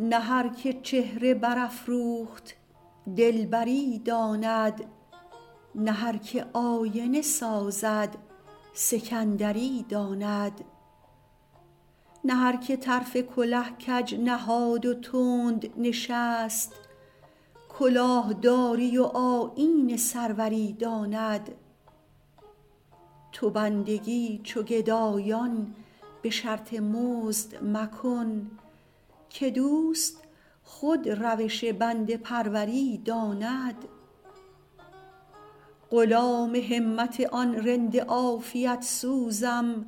نه هر که چهره برافروخت دلبری داند نه هر که آینه سازد سکندری داند نه هر که طرف کله کج نهاد و تند نشست کلاه داری و آیین سروری داند تو بندگی چو گدایان به شرط مزد مکن که دوست خود روش بنده پروری داند غلام همت آن رند عافیت سوزم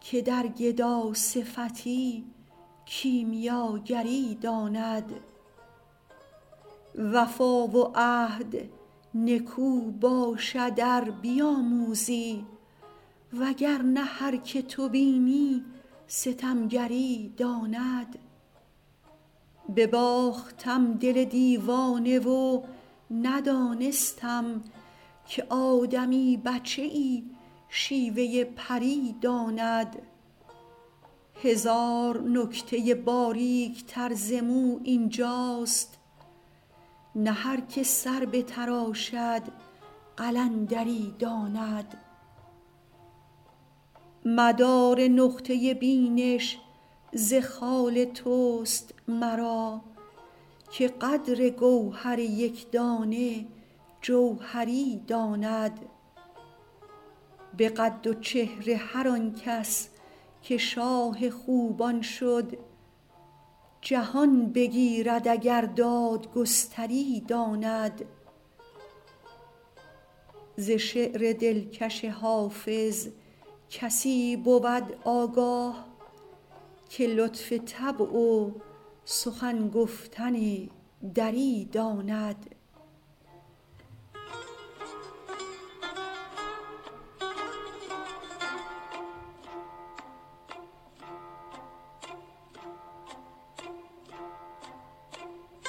که در گداصفتی کیمیاگری داند وفا و عهد نکو باشد ار بیاموزی وگر نه هر که تو بینی ستمگری داند بباختم دل دیوانه و ندانستم که آدمی بچه ای شیوه پری داند هزار نکته باریک تر ز مو این جاست نه هر که سر بتراشد قلندری داند مدار نقطه بینش ز خال توست مرا که قدر گوهر یک دانه جوهری داند به قد و چهره هر آن کس که شاه خوبان شد جهان بگیرد اگر دادگستری داند ز شعر دلکش حافظ کسی بود آگاه که لطف طبع و سخن گفتن دری داند